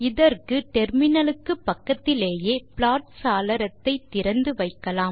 இதற்கு முனையத்துக்கு பக்கத்திலேயே ப்லாட் சாளரத்தை திறந்து வைக்கலாம்